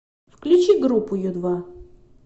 включи группу ю два